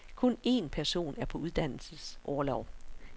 Kun en person er på uddannelsesorlov.